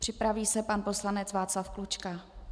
Připraví se pan poslanec Václav Klučka.